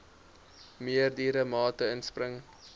meerdere mate inspring